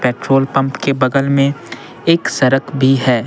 Petrol pump के बगल में एक सड़क भी है।